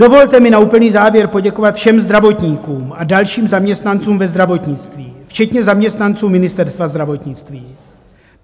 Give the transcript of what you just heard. Dovolte mi na úplný závěr poděkovat všem zdravotníkům a dalším zaměstnancům ve zdravotnictví, včetně zaměstnancům Ministerstva zdravotnictví.